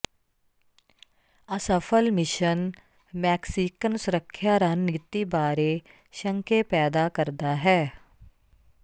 ਅਸਫਲ mission Mexican ਸੁਰੱਖਿਆ ਰਣਨੀਤੀ ਬਾਰੇ ਸ਼ੰਕੇ ਪੈਦਾ ਕਰਦਾ ਹੈ